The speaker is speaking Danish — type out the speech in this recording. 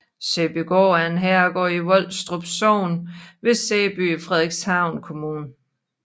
Sæbygaard er en herregård i Volstrup Sogn ved Sæby i Frederikshavn Kommune